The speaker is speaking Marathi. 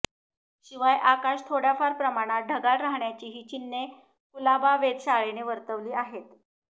शिवाय आकाश थोडय़ाफार प्रमाणात ढगाळ राहण्याचीही चिन्हे कुलाबा वेधशाळेने वर्तवली आहेत